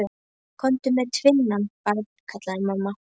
Komdu með tvinnann, barn, kallaði mamma.